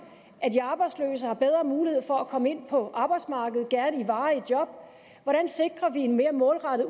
at de arbejdsløse har bedre mulighed for at komme ind på arbejdsmarkedet gerne i varige job hvordan sikrer vi en mere målrettet